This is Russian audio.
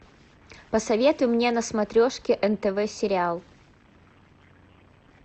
посоветуй мне на смотрешке нтв сериал